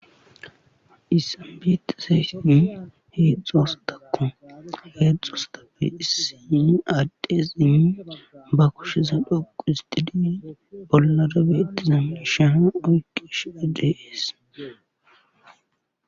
Hayssan beetizayssati heedzdzu asatakko heedzdzu asatappe issi addezi ba kusheza dhuqqistidi bolara betiza miishsha oyqqishe de'ees.